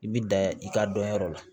I bi da i ka dɔnyɔrɔ la